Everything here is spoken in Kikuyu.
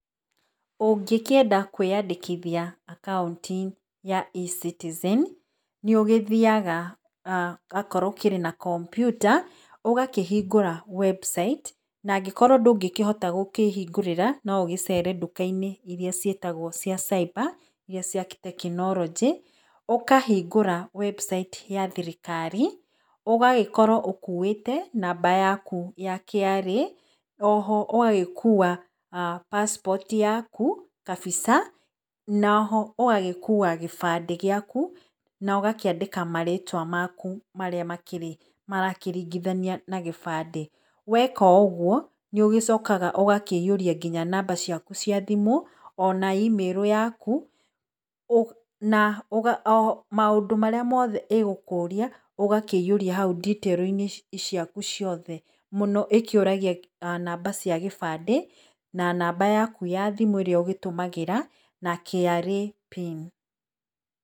Ũngĩkĩenda kwĩyandĩkithia account ya E-Citizen nĩugĩthiaga okorwo ũkĩrĩ na kompyuta ũgagĩkĩhingũra website na angĩkorwo ndũngĩkĩhota gũkĩhingũrĩra no ũgĩcere dukai-inĩ ĩrĩa cigĩtagwo cia cyber iria cia tekinoronjĩ ũkahingũra website ya thirikari ũgagĩkorwo ũkũutĩ namba yakũ ya KRA oho ũgagĩkũa passport yakũ kabica na oho ũgagĩkũa gĩbandĩ gĩakũ na ũgakĩandĩka marĩtwa makũ marĩa makĩrĩ marakĩringithania na gĩbande weka ũgũo nĩugĩcokaga ũgakĩihũrĩa ngina namba ciaku cia thĩmũ ona e-mail yakũ na maũndũ marĩa mothe ĩgũkũria ũgakĩihuria haũ ditĩri-inĩ ciaku ciothe mũno ĩkĩũragia namba ciaku cia gĩbandĩ na namba yaku ya thĩmũ ĩrĩa ũgĩtũmagĩra na KRA PIN.